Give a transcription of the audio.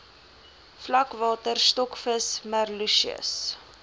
vlakwater stokvis merluccius